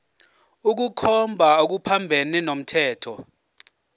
ukukhomba okuphambene nomthetho